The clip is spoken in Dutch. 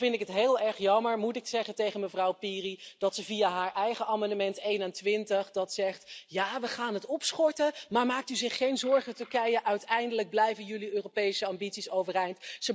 Dan vind ik het heel erg jammer, moet ik zeggen tegen mevrouw Piri, dat ze via haar eigen amendement 21 zegt ja, we gaan het opschorten, maar maakt u zich geen zorgen, Turkije, uiteindelijk blijven jullie Europese ambities overeind.